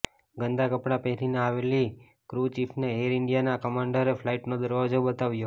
ગંદાં કપડાં પહેરીને આવેલી ક્રૂ ચીફને એર ઇન્ડિયાના કમાન્ડરે ફ્લાઇટનો દરવાજો બતાવ્યો